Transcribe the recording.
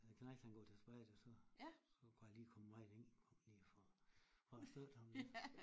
Knejt han går til spejder så så kunne jeg lige komme med ind lige for for at støtte ham lidt